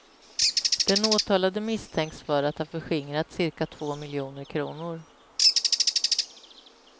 Den åtalade misstänks för att ha förskingrat cirka två miljoner kronor.